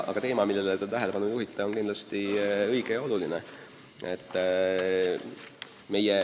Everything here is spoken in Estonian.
Aga teema, millele te tähelepanu juhite, on kindlasti oluline.